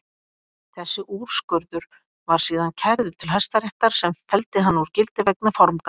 Þessi úrskurður var síðan kærður til Hæstaréttar sem felldi hann úr gildi vegna formgalla.